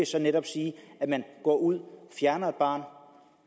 så netop sige at man går ud fjerner et barn